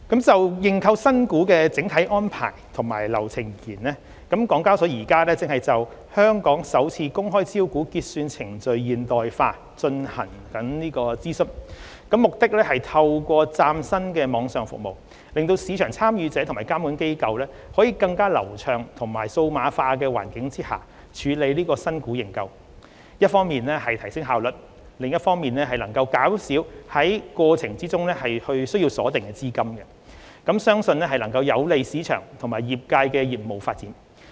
就認購新股的整體安排及流程而言，港交所現正就"香港首次公開招股結算程序現代化"進行諮詢，目的是透過嶄新網上服務，使市場參與者及監管機構在更流暢及數碼化的環境下處理新股認購，一方面提升效率，另一方面能減少在過程中需鎖定的資金，相信能有利市場及業界的業務發展。